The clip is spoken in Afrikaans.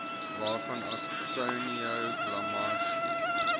waarvan antonio gramsci